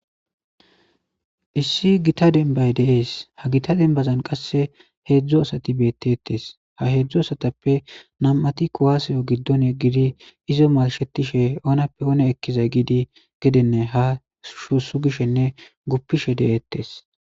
Issi gita denbay deees ha gita dembazan qasse heedzdzo asati beetetes ha heedzdzu asatappe nam7ati kuwaseyo giddone gidi izo malshetishe oonappe oone ekkizay giidi gedenne ha shuusu gishenne guppishe de7eettes.